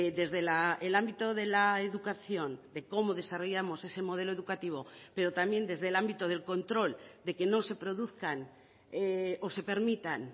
desde el ámbito de la educación de cómo desarrollamos ese modelo educativo pero también desde el ámbito del control de que no se produzcan o se permitan